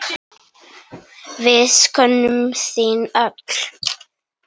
Við söknum þín öll.